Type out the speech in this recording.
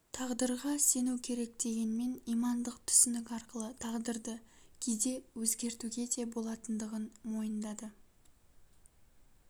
тағдырға сену керек дегенмен имандық түсінік арқылы тағдырды кейде өзгертуге де болатындығын мойындады